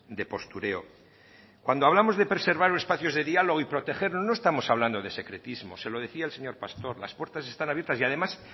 de postureo cuando hablamos de preservar espacios de diálogo y protegerlos no estamos hablando de secretismo se lo decía al señor pastor las puertas están abiertas y además